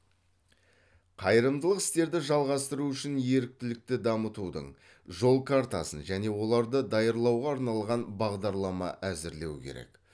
қайырымдылық істерді жалғастыру үшін еріктілікті дамытудың жол картасын және оларды даярлауға арналған бағдарлама әзірлеу керек